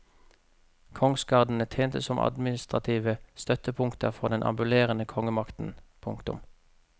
Kongsgardene tjente som administrative støttepunkter for den ambulerende kongemakten. punktum